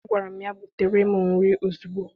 Agwara m ya, butere m nri ozugbo!